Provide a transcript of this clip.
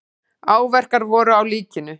Áverkar voru á líkinu.